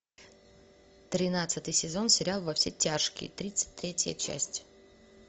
тринадцатый сезон сериал во все тяжкие тридцать третья часть